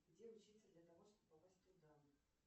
где учиться для того чтобы попасть туда